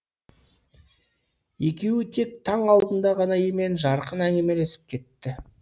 екеуі тек таң алдында ғана емен жарқын әңгімелесіп кетті